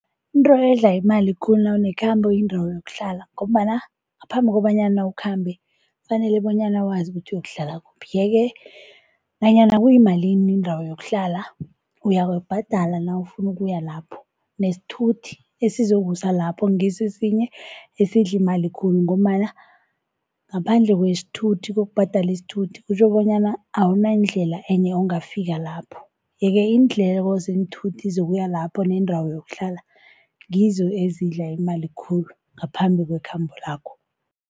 Into edla imali khulu nawunekhambo indawo yokuhlala, ngombana ngaphambi kobanyana ukhambe kufanele bonyana wazi ukuthi uyokuhlala kuphi. Yeke nanyana kuyimalini indawo yokuhlala uyababhadala nawufuna ukuya lapho, nesithuthi esizokusa lapho ngiso esinye esidla imali khulu. Ngombana ngaphandle kwesithuthi, kokubhadala isithuthi kutjho bonyana awunandlela enye ongafika lapho. Yeke iindleko zeenthuthi zokuya lapho neendawo yokuhlala ngizo ezidla imali khulu ngaphambi kwekhambo lakho.